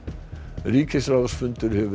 ríkisráðsfundur hefur verið